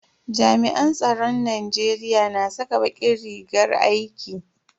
Jami'an tsaron Najeriya na saka bakin rigar aiki.